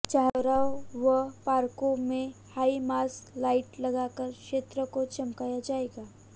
चौराहों व पार्कों में हाई मास्क लाईट लगाकर क्षेत्र को चमकाया जाएगा